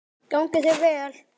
Gangi þér vel!